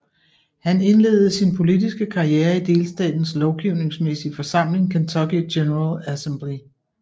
Han indledede sin politiske karriere i delstatens lovgivningsmæssige forsamling Kentucky General Assembly